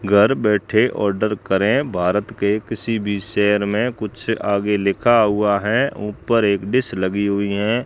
घर बैठे ऑर्डर करें भारत के किसी भी शहर में कुछ आगे लिखा हुआ है ऊपर एक डिश लगी हुई हैं।